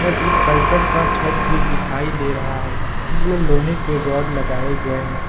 और एक करकट का छत भी दिखाई दे रहा है इसमें लोहे के रॉड लगाए गए हैं।